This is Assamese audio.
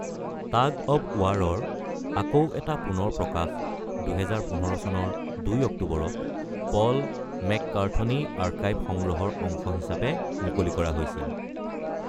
টাগ অৱ ৱাৰৰ আকৌ এটা পুনৰ প্ৰকাশ ২০১৫ চনৰ ২ অক্টোবৰত পল মেককাৰ্থনী আৰ্কাইভ সংগ্ৰহৰ অংশ হিচাপে মুকলি কৰা হৈছিল।